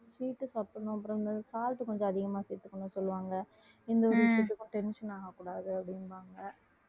sweet சாப்பிடணும் அப்புறம் இந்த salt கொஞ்சம் அதிகமா சேர்த்துக்கணும்னு சொல்லுவாங்க எந்த ஒரு விஷயத்துக்கும் tension ஆகக்கூடாது அப்படிம்பாங்க